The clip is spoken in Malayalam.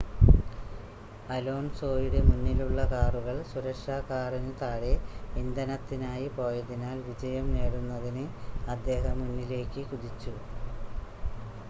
അലോൺസോയുടെ മുന്നിലുള്ള കാറുകൾ സുരക്ഷാ കാറിന് താഴെ ഇന്ധനത്തിനായി പോയതിനാൽ വിജയം നേടുന്നതിന് അദ്ദേഹം മുന്നിലേക്ക് കുതിച്ചു